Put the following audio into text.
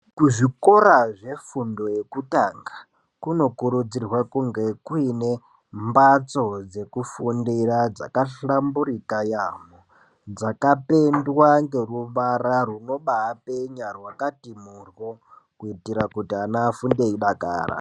Kuzvikora yefundo yekutanga Kuno kurudzirwa kuti kunge kuine mbatso dzekufundira dzakahlamburika yamho, dzakapendwa ngeruvara runoba penya rwakati mhurwo kuitira kuti ana afunde eidakara.